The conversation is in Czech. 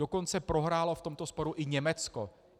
Dokonce prohrálo v tomto sporu i Německo.